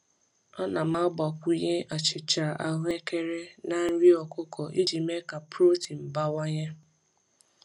Ana m agbakwunye achịcha ahụekere na nri ọkụkọ iji mee ka protein bawanye.